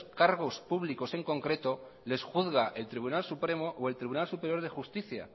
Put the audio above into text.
cargos públicos en concreto les juzga el tribunal supremo o el tribunal superior de justicia